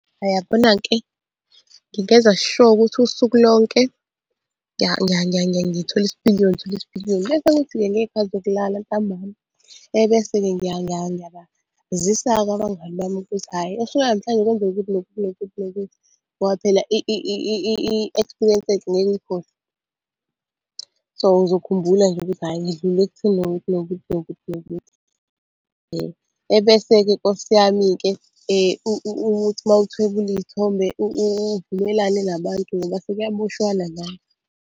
Uyabona-ke, ngingenza sure ukuthi usuku lonke ngithola isipiliyoni ngithola isipiliyoni. Bese kuthi-ke ngey'khathi zokulala ntambama, ebese-ke ngiyabazisa-ke abangani bami ukuthi, hhayi osukwini lanamhlanje kwenzeke ukuthi nokuthi nokuthi nokuthi, ngoba phela i-experience enhle ngeke uyithole. So, ngizokhumbula nje ukuthi hhayi ngidlule ekutheni nokuthi nokuthi nokuthi nokuthi. Ebese-ke nkosi yami-ke ukuthi mawuthwebula iy'thombe uvumelane nabantu ngoba sekuyaboshwana manje.